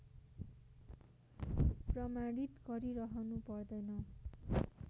प्रमाणित गरिरहनु पर्दैन